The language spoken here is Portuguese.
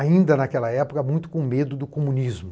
Ainda naquela época, muito com medo do comunismo.